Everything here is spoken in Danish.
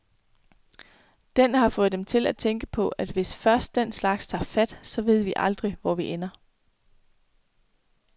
Den har fået dem til at tænke på, at hvis først den slags tager fat, så ved vi aldrig, hvor vi ender.